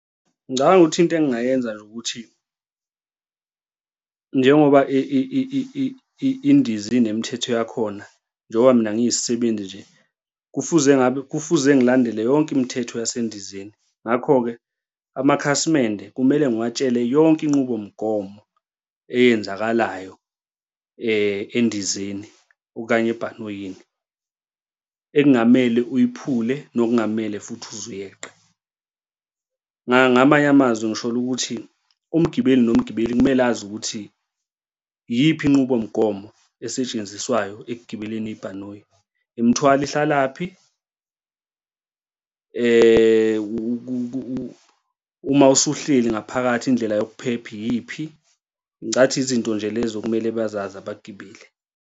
Ngicabanga ukuthi into engingayenza nje ukuthi njengoba indiza inemithetho yakhona njengoba mina ngiyisisebenzi nje, kufuze ngabe, kufuze ngilandele yonke imithetho yasendizeni. Ngakho-ke amakhasimende kumele ngiwatshele yonke inqubomgomo eyenzakalayo endizeni okanye ebhanoyini ekungamele uyiphule nokungamele futhi uze uyeqe. Ngamanye amazwi ngisholo ukuthi umgibeli nomgibeli kumele azi ukuthi iyiphi inqubomgomo esetshenziswayo ekugibeleni ibhanoyi? Imithwalo ihlalaphi? uma usuhleli ngaphakathi, indlela yokuphepha iyiphi? Ngicabanga ukuthi izinto nje lezo okumele bazazi abagibeli